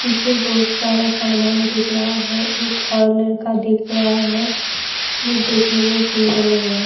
پیچھے بہت سارا سامان دکھ رہا ہے اور ایک لڑکا دکھ رہا ہے وہ دیکھنے میں سندر لگ رہاہے-